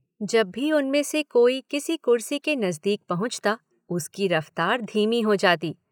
जब भी उनमें से कोई किसी कुर्सी के नजदीक पहुँचता उसकी रफ्तार धीमी हो जाती।